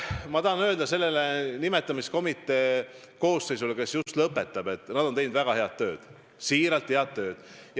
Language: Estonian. Ma tahan öelda sellele nimetamiskomitee koosseisule, kes just lõpetab, et nad on teinud väga head tööd, siiralt ütlen, head tööd.